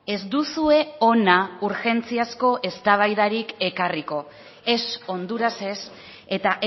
ez duzue hona urgentziazko eztabaidarik ekarriko ez hondurasez eta